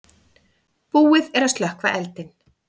Búið er að slökkva eldinn.